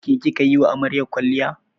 Ke kika yi wa amaryar kwalliya?